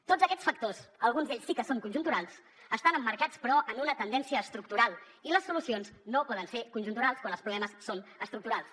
tots aquests factors alguns d’ells sí que són conjunturals estan emmarcats però en una tendència estructural i les solucions no poden ser conjunturals quan els problemes són estructurals